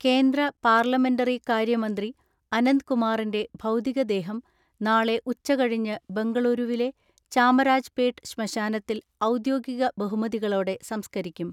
കേന്ദ്ര പാർലമെന്ററികാര്യ മന്ത്രി അനന്ത്കുമാറിന്റെ ഭൗതി കദേഹം നാളെ ഉച്ചകഴിഞ്ഞ് ബങ്കളൂരുവിലെ ചാമരാജ്പേട്ട് ശ്മശാനത്തിൽ ഔദ്യോഗിക ബഹുമതിക ളോടെ സംസ്കരിക്കും.